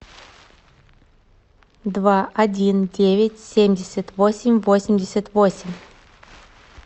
два один девять семьдесят восемь восемьдесят восемь